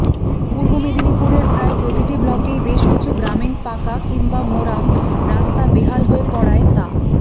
পূর্ব মেদিনীপুরের প্রায় প্রতিটি ব্লকেই বেশকিছু গ্রামীণ পাকা কিংবা মোরাম রাস্তা বেহাল হয়ে পড়ায় তা